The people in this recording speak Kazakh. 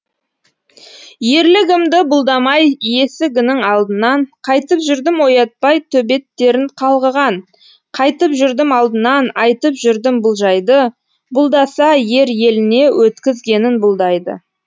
ерлігімді бұлдамай есігінің алдынан қайтып жүрдім оятпай төбеттерін қалғыған қайтып жүрдім алдынан айтып жүрдім бұл жайды бұлдаса ер еліне өткізгенін бұлдайды